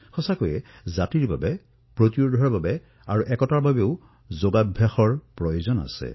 প্ৰকৃততেই যোগ সমাজ ৰোগ প্ৰতিৰোগ ক্ষমতা আৰু ঐক্যতা সকলোৰে বাবে উত্তম হিচাপে বিবেচিত হৈছে